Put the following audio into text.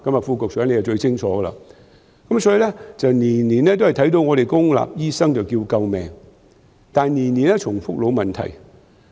副局長最清楚了，所以每年也看到公立醫院的醫生喊救命，但每年都重複老問題。